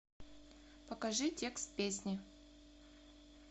покажи текст песни